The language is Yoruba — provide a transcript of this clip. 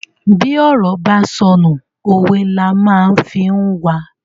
Bi ọ̀rọ̀ bá sọnù, òwe la má fi n wa